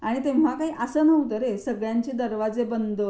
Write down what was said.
आणि तेव्हा काही असं नव्हतं रे सगळ्यांचे दरवाजे बंद.